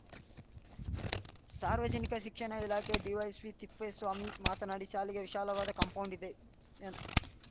ಸಾರ್ವಜನಿಕ ಶಿಕ್ಷಣ ಇಲಾಖೆಯ ಡಿವೈಪಿಸಿ ತಿಪ್ಪೇಸ್ವಾಮಿ ಮಾತನಾಡಿ ಶಾಲೆಗೆ ವಿಶಾಲವಾದ ಕಾಂಪೌಂಡ್‌ ಇದೆ ಎನ್